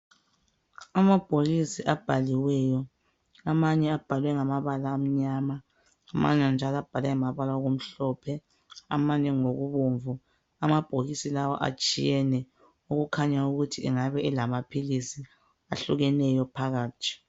Amabhokisi abhaliweyo. Amanye abhalwe ngamabala amnyama, amanye njalo abhalwe ngamabala okumhlophe amanye ngokubomvu. Amabhokisi lawa atshiyene okukhanya ukuthi engabe elamaphilisi ahlukeneyo phakathi.